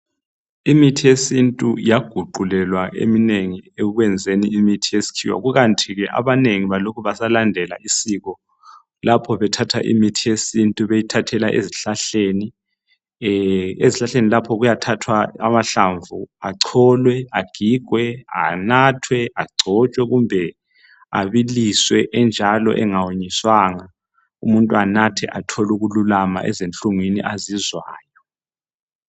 Imithi yesintu yaguqulelwa eminengi ekwenzeni imithi yesikhiwa. Kukanti ke abanengi balokhe besalandela isiko, lapho bethatha imithi yesintu beyithathela ezihlahleni. Ezihlahleni lapho kuyathathwa amahlamvu acholwe, agigwe, anathwe, agcotshwe kumbe abiliswe enjalo engawonyiswanga umuntu anathe athole ukululama ezinhlungwini azizwayo.